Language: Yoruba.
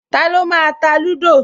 Taló máa ta lúdò?